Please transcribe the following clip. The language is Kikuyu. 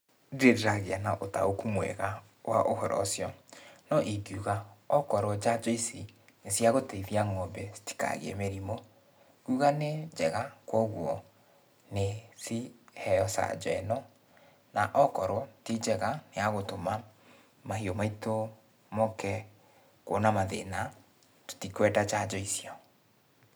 Ndirĩ ndĩragĩa na ũtaũku mwega wa ũhoro ũcio, no ingiuga okorwo njanjo ici nĩ cia gũteithia ng'ombe citikagĩe mĩrimũ, nguga nĩ njega, kogwo nĩciheo canjo ĩno, na okorwo ti njega ya gũtũma mahiũ maitũ moke kwona mathĩna, tũtikwenda njanjo icio.